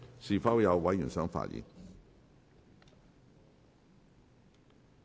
是否有委員想發言？